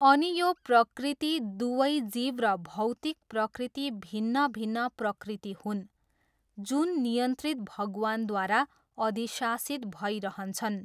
अनि यो प्रकृति, दुवै जीव र भौतिक प्रकृति भिन्न भिन्न प्रकृति हुन्, जुन नियन्त्रित भगवानद्वारा अधिशासित भइरहन्छन्।